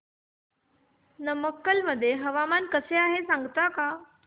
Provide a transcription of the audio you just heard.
नमक्कल मध्ये हवामान कसे आहे सांगता का